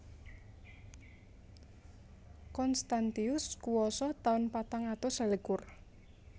Constantius kuwasa taun patang atus selikur